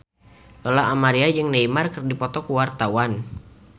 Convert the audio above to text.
Lola Amaria jeung Neymar keur dipoto ku wartawan